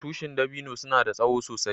Tushin dabino suna da tsowo sosai.